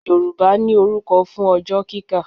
Yorùbá ní orúkọ fún ọjọ́ kíkà